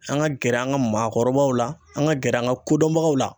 An ka gɛrɛ an ka maakɔrɔbaw la ,an ka gɛrɛ an ka kodɔnbagaw la.